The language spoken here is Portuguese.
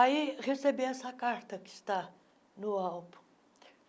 Aí, recebi essa carta que está no álbum.